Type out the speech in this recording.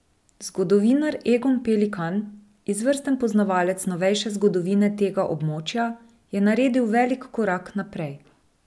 Zgodovinar Egon Pelikan, izvrsten poznavalec novejše zgodovine tega območja, je naredil velik korak naprej.